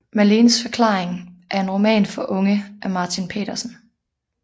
Malenes forklaring er en roman for unge af Martin Petersen